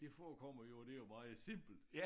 Det forekommer jo det jo meget simpelt